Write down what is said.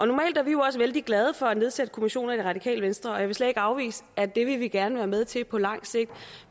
normalt er vi jo også vældig glade for at nedsætte kommissioner i radikale venstre og jeg vil slet ikke afvise at det vil vi gerne være med til på lang sigt